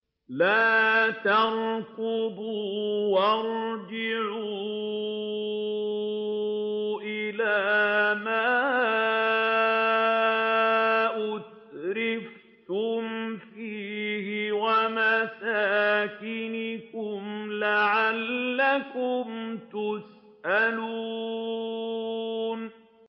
لَا تَرْكُضُوا وَارْجِعُوا إِلَىٰ مَا أُتْرِفْتُمْ فِيهِ وَمَسَاكِنِكُمْ لَعَلَّكُمْ تُسْأَلُونَ